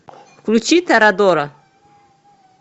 включи торадора